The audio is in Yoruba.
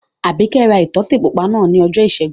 Àbíkẹ́ ra ìtọ́tè pupa náà ní ọjọ́ ìṣẹ́gun